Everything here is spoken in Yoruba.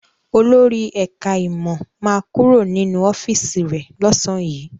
Olórí ẹ̀ká ìmọ̀ ma kúrò nínú ọ́fíìsì rẹ̀ lọ́sàn yìí